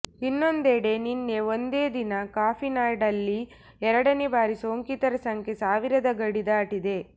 ಇನ್ನೊಂದೆಡೆ ನಿನ್ನೆ ಒಂದೇ ದಿನ ಕಾಫಿನಾಡಲ್ಲಿ ಎರಡನೇ ಬಾರಿ ಸೋಂಕಿತರ ಸಂಖ್ಯೆ ಸಾವಿರದ ಗಡಿ ದಾಟಿದೆ